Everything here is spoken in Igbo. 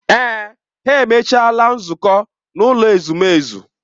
Èè, ha emechaala nzukọ n'ụlọ ezumezu.